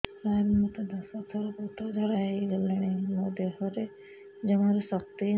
ସାର ମୋତେ ଦଶ ଥର ପତଳା ଝାଡା ହେଇଗଲାଣି ମୋ ଦେହରେ ଜମାରୁ ଶକ୍ତି ନାହିଁ